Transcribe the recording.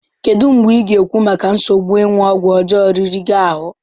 Kedu mgbe ị ga-ekwu maka nsogbu ịṅụ ọgwụ ọjọọ riri gị ahụ?